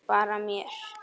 Bara mér.